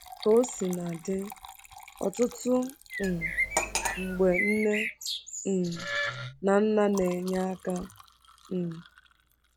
Ka o sina dị, ọtụtụ um mgbe nne um na nna na-enye aka um.